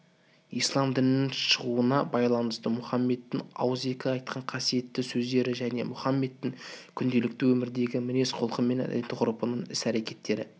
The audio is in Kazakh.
ислам дінінің шығуына байланысты мұхаммедтің ауызекі айтқан қасиетті сөздері және мұхаммедтің күнделікті өмірдегі мінез-кұлқы мен әдет-ғұрыптарын іс-әрекеттері